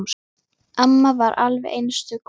Amma var alveg einstök kona.